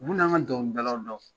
Mun n'an ka dɔnkilidalaw dɔn